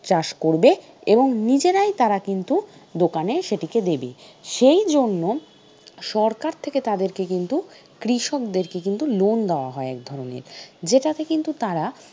চাষ করবে এবং নিজেরাই তারা কিন্তু দোকানে সেটিকে দেবে সেই জন্য সরকার থেকে তাদেরকে কিন্তু কৃষকদেরকে কিন্তু loan দেওয়া হয় এক ধরনের যেটাতে কিন্তু তারা